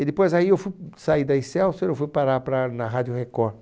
E depois daí eu fui, saí da Excélsior e fui parar para, na Rádio Record.